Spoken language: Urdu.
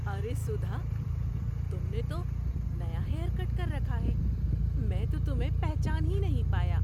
ارے سدھا، تم نے تو نیا ہیئر کٹ کر رکھا ہے! میں تو تمہیں پہچان ہی نہیں پایا!